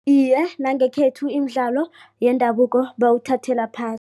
Iye, nangekhethu imidlalo yendabuko bawuthathela